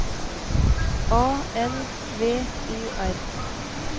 A L V O R